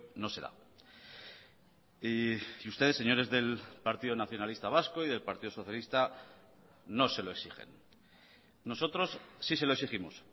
no se da y ustedes señores del partido nacionalista vasco y del partido socialista no se lo exigen nosotros sí se lo exigimos